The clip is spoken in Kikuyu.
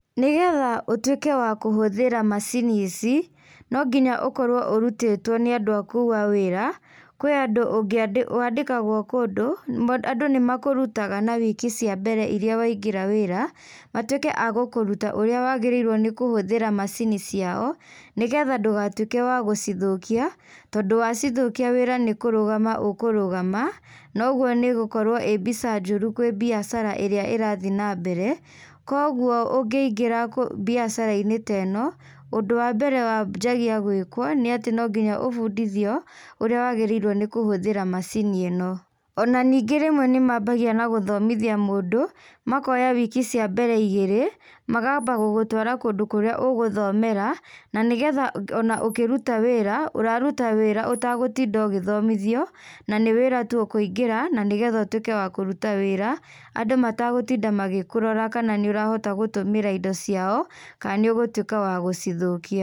Nĩgetha ũguĩke wa kũhũthĩra macini ici no nginya ũkorwo ũrutĩtwo nĩ andũ a kũu a wĩra, kwĩ andũ wandĩkagwo kũndũ andũ nĩ makũrutaga na wiki cia mbere iria waingĩra wĩra, matuĩke agũkũruta ũrĩa wagĩrĩirwo nĩ kũhũthĩra macini ciao nĩgetha ndũgatuĩke wa gũcithũkia tondũ wacithũkia wĩra nĩ kũrũgama ũkũrũgama noguo nĩ ĩgũkorwo ĩĩ mbica njũru kwĩ biacara ĩrĩa ĩrathiĩ nambere. Kwoguo ũngĩingĩra biacara-inĩ ta ĩno, ũndũ wa mbere wanjagia gwĩkwo nĩ atĩ no nginya ũbundithio ũrĩa wagĩrĩirwo nĩ kũhũthĩra macini ĩno. Ona ningĩ rĩmwe nĩ mambagia na gũthomithia mũndu makoya wiki cia mbere igĩrĩ, makaamba gũgũtwara kũndũ kũrĩa ũgũthomera na nĩgetha ona ũkĩruta wĩra ũraruta wĩra ũtagũtinda ũgĩthomithio na nĩ wĩra tu ũkũingĩra na nĩgetha ũtuĩke wa kũruta wĩra andũ matagũtinda magĩkũrora kana nĩ ũrahota gũtũmĩra indo ciao kana nĩ ũgũtuĩka wa gũcithũkia.